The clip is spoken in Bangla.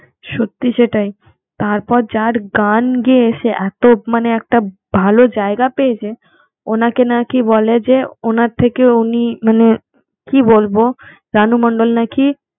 সত্যি, সেটাই তারপর যার গান গেয়ে সে এত মানে একটা ভালো জায়গা পেয়েছে, ওনাকে নাকি বলে যে ওনার থেকে উনি মানে কি বলবো রানু মন্ডল নাকি